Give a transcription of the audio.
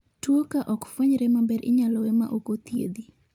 tuo kaa okfuenyre maber inyalo we ma ok ochiedh